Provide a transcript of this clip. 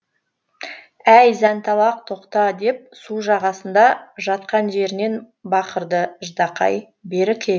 әй зәнталақ тоқта деп су жағасында жатқан жерінен бақырды ждақай бері кел